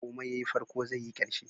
Komai yayi farko zai yi karshe.